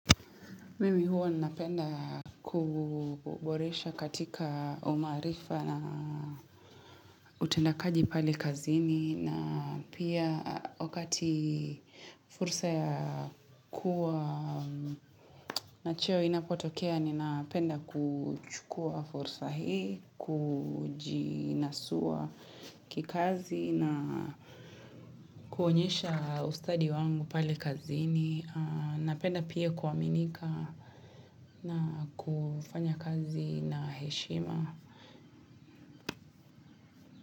Mimi huwa ninapenda kuboresha katika umaarifa na utendakaji pale kazini na pia wakati fursa ya kuwa na cheo inapotokea ninapenda kuchukua fursa hii, Kujinasua kikazi na kuonyesha ustadi wangu pale kazini. Napenda pia kuaminika na kufanya kazi na heshima.